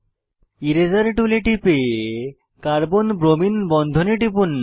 এরাসের টুলে টিপে carbon bromine বন্ধনে টিপুন